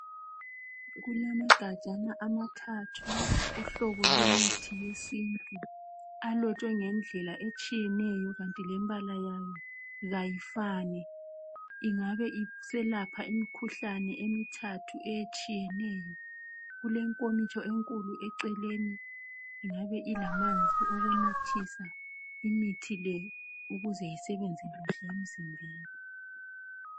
Kulama gajana amathathu .Uhlobo lwemithi yesintu .Alotshwe ngendlela etshiyeneyo kanti lembala yayo kayifani .Ingabe iselapha imikhuhlane emithathu etshiyeneyo .Kulenkomitsho enkulu eceleni .Ingabe ilamanzi okunathisa imithi le ukuze isebenze kahle emzimbeni .